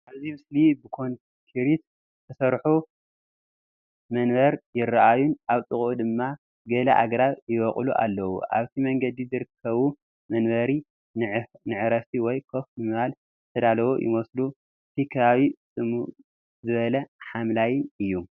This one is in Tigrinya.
ኣብዚ ምስሊ ብኮንክሪት ዝተሰርሑ መንበር ይረኣዩን ኣብ ጥቓኡ ድማ ገለ ኣግራብ ይበቁሉን ኣለዉ።። ኣብቲ መንገዲ ዝርከቡ መንበር ንዕረፍቲ ወይ ኮፍ ንምባል ዝተዳለዉ ይመስሉ። እቲ ከባቢ ጽምው ዝበለን ሓምላይን እዩ።